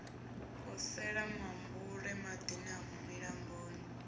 posela mambule madini a milamboni